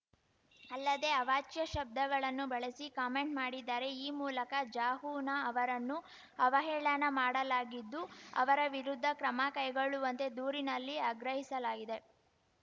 ಅಲ್ಲದೆ ಅವಾಚ್ಯ ಶಬ್ದಗಳನ್ನು ಬಳಸಿ ಕಾಮೆಂಟ್‌ ಮಾಡಿದ್ದಾರೆ ಈ ಮೂಲಕ ಜಹೊನಾ ಅವರನ್ನು ಅವಹೇಳನ ಮಾಡಲಾಗಿದ್ದು ಅವರ ವಿರುದ್ಧ ಕ್ರಮ ಕೈಗೊಳ್ಳುವಂತೆ ದೂರಿನಲ್ಲಿ ಆಗ್ರಹಿಸಲಾಗಿದೆ